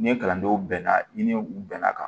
Ni kalandenw bɛnna ni u bɛnna kan